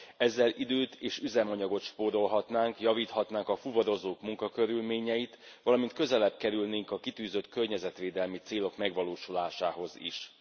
Ezzel időt és üzemanyagot spórolhatnánk, javíthatnánk a fuvarozók munkakörülményeit, valamint közelebb kerülnénk a kitűzött környezetvédelmi célok megvalósulásához is.